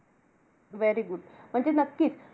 Very good म्हणजे नक्कीच.